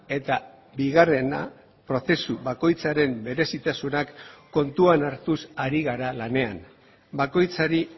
eta bigarrena prozesu bakoitzaren berezitasunak kontuan hartuz ari gara lanean bakoitzari